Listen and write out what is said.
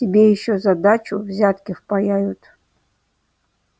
тебе ещё за дачу взятки впаяют